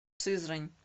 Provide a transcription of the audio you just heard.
сызрань